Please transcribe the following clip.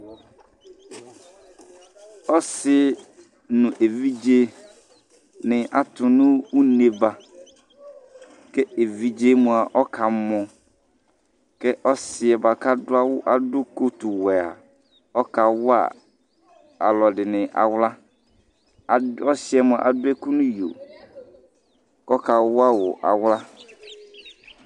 Ɔsɩ nʋ evidzenɩ atʋ nʋ une ba kʋ evidze yɛ mʋa, ɔkamɔ kʋ ɔsɩ yɛ bʋa kʋ adʋ awʋ kotuwɛ a ɔkawa alʋɛdɩnɩ aɣla Adʋ ɔsɩ yɛ mʋa adʋ ɛkʋ nʋ iyo kʋ ɔkawa wʋ aɣla